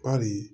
Bari